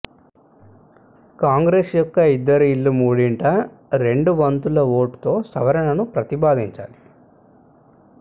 కాంగ్రెస్ యొక్క ఇద్దరు ఇళ్ళు మూడింట రెండు వంతుల ఓటుతో సవరణను ప్రతిపాదించాలి